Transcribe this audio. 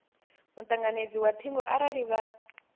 mutanganedzi wa thingo arali vha